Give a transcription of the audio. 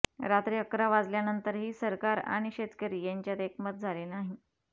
रात्री अकरा वाजल्यानंतरही सरकार आणि शेतकरी यांच्यात एकमत झाले नाही